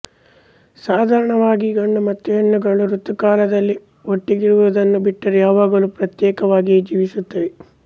ಸಾಧಾರಣವಾಗಿ ಗಂಡು ಮತ್ತು ಹೆಣ್ಣುಗಳು ಋತುಕಾಲದಲ್ಲಿ ಒಟ್ಟಿಗಿರುವುದನ್ನು ಬಿಟ್ಟರೆ ಯಾವಾಗಲೂ ಪ್ರತ್ಯೇಕವಾಗಿಯೇ ಜೀವಿಸುತ್ತವೆ